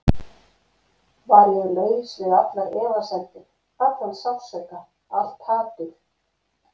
Var ég laus við allar efasemdir, allan sársauka, allt hatur?